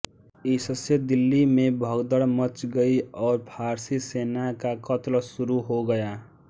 इससे दिल्ली में भगदड़ मच गई और फारसी सेना का कत्ल शुरू हो गया